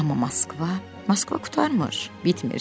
Amma Moskva, Moskva qurtarmır, bitmir.